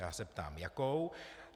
Já se ptám jakou.